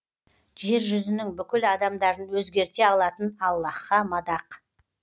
жер жүзінің бүкіл адамдарын өзгерте алатын аллаһқа мадақ